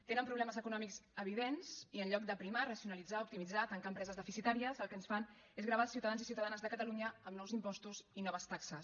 tenen problemes econòmics evidents i en lloc d’aprimar racionalitzar optimitzar tancar empreses deficitàries el que ens fan és gravar els ciutadans i ciutadanes de catalunya amb nous impostos i noves taxes